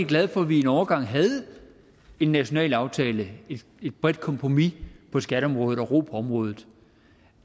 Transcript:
glad for at vi en overgang havde en national aftale et bredt kompromis på skatteområdet og ro på området